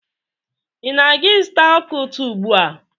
Ị na-aga azụta ọka ụtọ ugbua?